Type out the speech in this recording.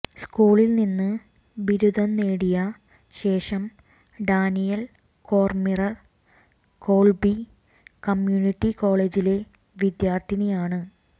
സ്കൂളിൽ നിന്ന് ബിരുദം നേടിയ ശേഷം ഡാനിയൽ കോർമിർ കോൾബി കമ്മ്യൂണിറ്റി കോളേജിലെ വിദ്യാർത്ഥിയാണ്